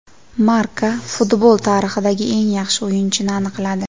Marca futbol tarixidagi eng yaxshi o‘yinchini aniqladi.